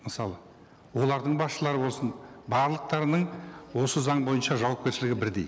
мысалы олардың басшылары болсын барлықтарының осы заң бойынша жауапкершілігі бірдей